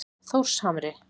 Þórshamri